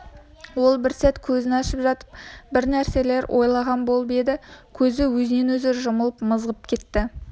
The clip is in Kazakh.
ол бір сәт көзін ашып жатып бір нәрселер ойлаған болып еді көзі өзінен-өзі жұмылып мызғып кетті